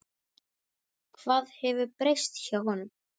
Hvað hefur breyst hjá honum?